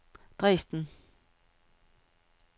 Dresden